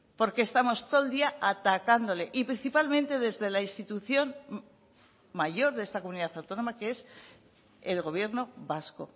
porque estamos todo el día atacándole y principalmente desde la institución mayor de esta comunidad autónoma que es el gobierno vasco